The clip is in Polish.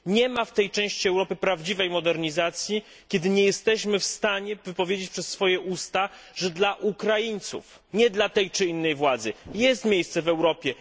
Nie ma w tej części Europy prawdziwej modernizacji, jeżeli nie jesteśmy w stanie wypowiedzieć przez swoje usta, że dla Ukraińców, nie dla tej czy innej władzy, jest miejsce w Europie.